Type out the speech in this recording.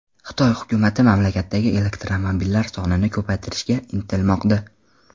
Xitoy hukumati mamlakatdagi elektromobillar sonini ko‘paytirishga intilmoqda.